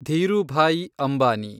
Dhirubhai Ambani